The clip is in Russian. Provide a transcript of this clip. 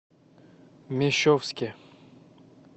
мещовске